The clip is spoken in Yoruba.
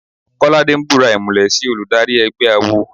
Kọ́ládé ń búra ìmùlẹ̀ sí olùdarí ẹgbẹ́ awo.